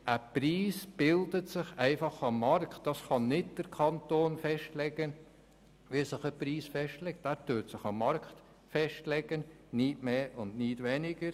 Ein Preis bildet sich einfach am Markt und kann nicht durch den Kanton festgelegt werden.